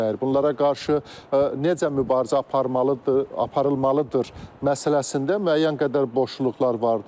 Bunlara qarşı necə mübarizə aparılmalıdır məsələsində müəyyən qədər boşluqlar vardır.